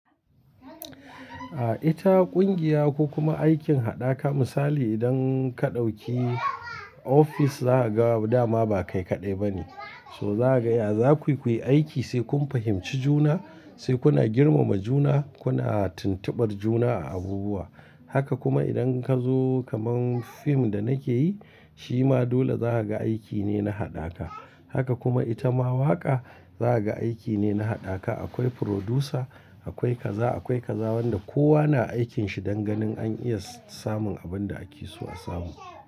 A ita ƙungiya ko kuma aikin hada ka misali idan ka ɗauki ofis za a ga dama ba kai kaɗai ba ne. So za a gaya za ku yi aiki sai kun fahimci juna, sai kuna girmama juna, kuna tuntuɓar juna a abubuwa. Haka kuma idan ka zo kaman fim da nake yi, shi ma dole za ka ga aiki ne na haɗaka. Haka kuma ita ma waƙa za ka ga aiki ne na haɗaka. Akwai producer, akwai kaza, akwai kaza wanda kowa na aikin shi don ganin an iya samun abin da ake so a samu.